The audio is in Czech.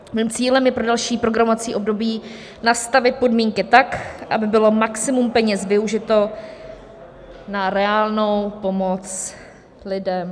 Mým cílem je pro další programovací období nastavit podmínky tak, aby bylo maximum peněz využito na reálnou pomoc lidem...